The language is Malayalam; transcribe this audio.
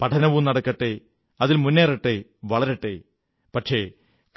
പഠനവും നടക്കട്ടെ അതിൽ മുന്നേറട്ടെ വളരട്ടെ പക്ഷേ